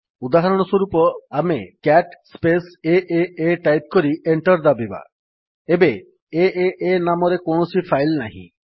ଉଦାହରଣସ୍ୱରୂପ ଆମେ CAT space A type କରି enter ଦାବିବା ଏବେ ଏଏ ନାମରେ କୌଣସି ଫାଇଲ୍ ନାହିଁ